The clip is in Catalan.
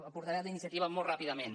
al portaveu d’iniciativa molt ràpidament